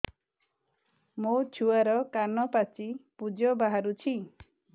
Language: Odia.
ମୋ ଛୁଆର କାନ ପାଚି ପୁଜ ବାହାରୁଛି